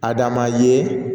Adama ye